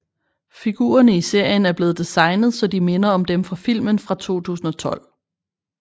Figurerne i serien er blevet designet så de minder om dem fra filmen fra 2012